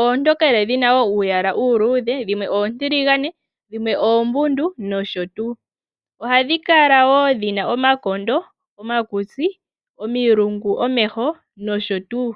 oontokele dhi na uuyala uuluudhe, dhimwe dhimwe oontiligane, dhimwe oombudu, nosho tuu. Ohadhi kala woo dhi na omakondo, omakutsi, omilungu, omeho nosho tuu.